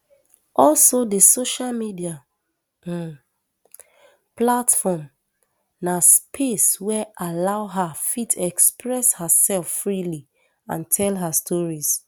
also di social media um platform na space wey allow her fit express herself freely and tell her stories